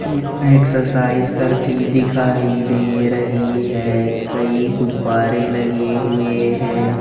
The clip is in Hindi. एक्सरसाइज करती दिखाई दे रही है कई गुब्बारे लगे हुए हैं।